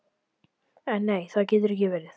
En nei, það getur ekki verið.